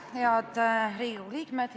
Head Riigikogu liikmed!